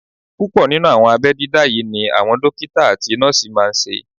Púpọ̀ nínú àwọn abẹ́ dídá yí ni àwọn dókítà àti nọ́ọ̀sì máa n ṣe